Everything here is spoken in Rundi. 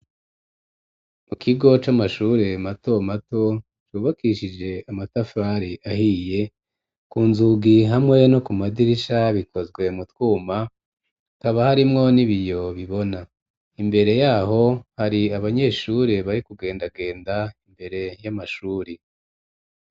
Mu kigo c'amashure mato mato, cubakishije amatafari ahiye, ku nzugi hamwe no ku madirisha bikozwe mu twuma, hakaba harimwo n'ibiyo bibona; imbere y'aho hari abanyeshure bari kugendagenda imbere y'amashuri.